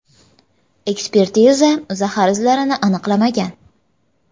Ekspertiza zahar izlarini aniqlamagan.